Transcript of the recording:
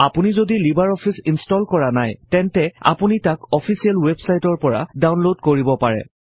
আপুনি যদি Libre Office install কৰা নাই তেন্তে আপুনি তাক অফিছিয়েল ৱেব চাইটৰ পৰা ডাওনলড কৰিব পাৰে